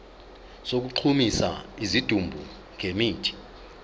sokugqumisa isidumbu ngemithi